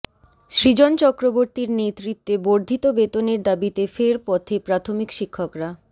সুজন চক্রবর্তীর নেতৃত্বে বর্ধিত বেতনের দাবিতে ফের পথে প্রাথমিক শিক্ষকরা